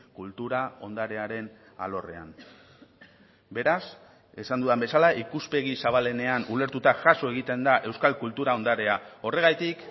kultura ondarearen alorrean beraz esan dudan bezala ikuspegi zabalenean ulertuta jaso egiten da euskal kultura ondarea horregatik